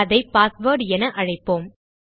அதை பாஸ்வேர்ட் என அழைப்போம்